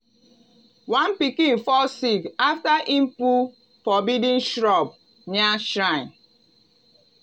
one pikin fall sick after e pull forbidden shrub near shrine.